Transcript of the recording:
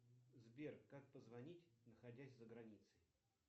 сбер как позвонить находясь за границей